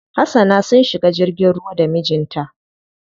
Hasana sun shiga jirgin ruwa da mijin ta.